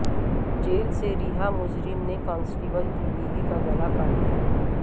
jail سے رہا مجرم نے کانسٹیبل کی بیوی کا گلا کاٹ دیا